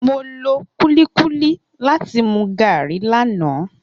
Mo lo kulikuli lati mu garri lana.